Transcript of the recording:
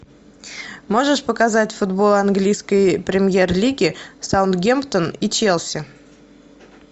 можешь показать футбол английской премьер лиги саутгемптон и челси